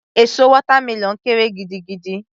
Èso watermelon kéré gidigidi